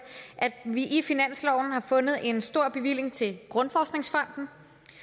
at vi i finansloven har fundet en stor bevilling til grundforskningsfonden